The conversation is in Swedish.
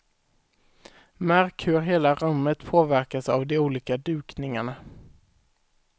Märk hur hela rummet påverkas av de olika dukningarna.